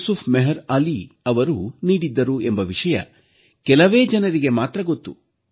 ಯುಸುಫ್ ಮೆಹರ್ ಅಲಿಯವರು ನೀಡಿದ್ದರು ಎಂಬ ವಿಷಯ ಕೆಲವೇ ಜನರಿಗೆ ಮಾತ್ರ ಗೊತ್ತು